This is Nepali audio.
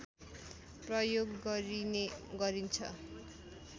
प्रयोग गरिने गरिन्छ